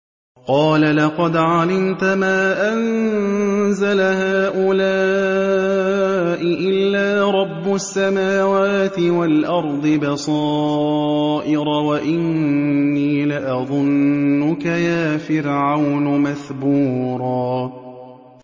قَالَ لَقَدْ عَلِمْتَ مَا أَنزَلَ هَٰؤُلَاءِ إِلَّا رَبُّ السَّمَاوَاتِ وَالْأَرْضِ بَصَائِرَ وَإِنِّي لَأَظُنُّكَ يَا فِرْعَوْنُ مَثْبُورًا